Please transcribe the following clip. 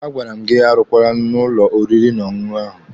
A gwara m gị arụkwala n'ụlọ oriri na ọṅụṅụ ahụ!